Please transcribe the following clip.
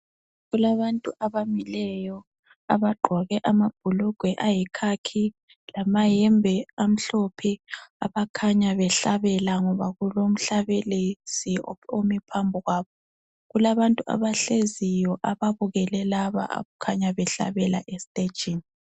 Kulabantu abamileyo abagqoke amabhulugwe ayikhakhi lamahembe amhlophe .Abakhanya behlabela ngoba kulomhlabelisi omi phambi kwabo . Kulabantu abahleziyo ababukele laba abakhanya behlabela estajini.